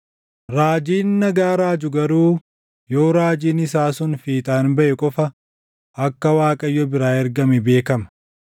Raajiin nagaa raaju garuu yoo raajiin isaa sun fiixaan baʼe qofa akka Waaqayyo biraa ergame beekama.”